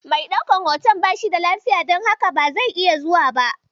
Mai ɗaukan hoton bashi da lafiya, don haka ba zai iya zuwa ba.